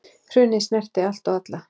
Hrunið snerti allt og alla.